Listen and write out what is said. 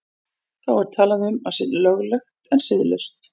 Þá er talað um að sé löglegt en siðlaust.